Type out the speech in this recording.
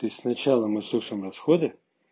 то есть сначала мы сушим расходы